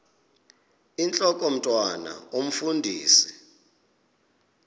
intlok omntwan omfundisi